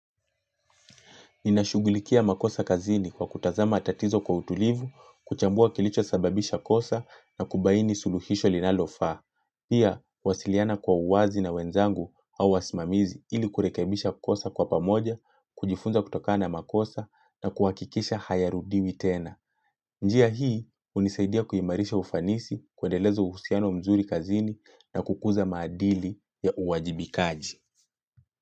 Ninashugulikia makosa kazini kwa kutazama tatizo kwa utulivu, kuchambua kilicho sababisha kosa na kubaini suluhisho linalo faa. Pia, wasiliana kwa uwazi na wenzangu au wasimamizi ili kurekebisha kosa kwa pamoja, kujifunza kutoka na makosa na kuwakikisha hayarudiwi tena. Njia hii, hunisaidia kuimarisha ufanisi, kuendelez uhusiano mzuri kazini na kukuza maadili ya uwajibikaji.